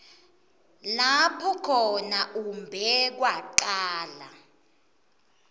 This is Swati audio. lapho khona umbekwacala